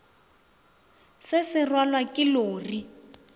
se sa rwalwa ke lori